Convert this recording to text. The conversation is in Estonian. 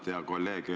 Tarmo Tamm, palun!